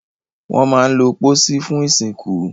Wọ́n máa ń lo pósí fún ìsìnkú.